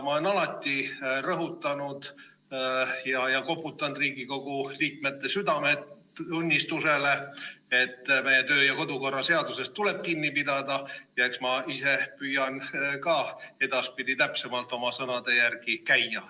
Ma olen alati rõhutanud ja koputanud Riigikogu liikmete südametunnistusele, et meie kodu- ja töökorra seadusest tuleb kinni pidada, ja eks ma ise püüan ka edaspidi täpsemalt oma sõnade järgi käia.